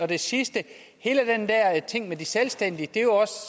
det sidste hele den der ting med de selvstændige er jo